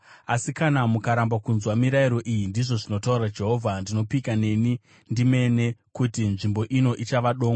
Asi kana mukaramba kunzwa mirayiro iyi, ndizvo zvinotaura Jehovha, ndinopika neni ndimene kuti nzvimbo ino ichava dongo.’ ”